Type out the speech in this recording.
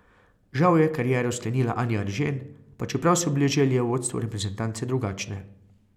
Žal je kariero sklenila Anja Eržen, pa čeprav so bile želje v vodstvu reprezentance drugačne.